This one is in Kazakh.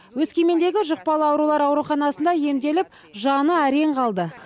өскемендегі жұқпалы аурулар ауруханасында емделіп жаны әрең қалды